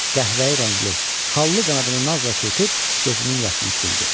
Qəhvəyi rəngli, xallı qanadını nazla çırpıb gözünün yaşını sildi.